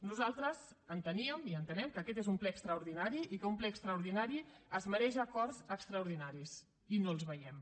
nosaltres enteníem i entenem que aquest és un ple extraordinari i que un ple extraordinari es mereix acords extraordinaris i no els veiem